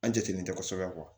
An jatelen tɛ kosɛbɛ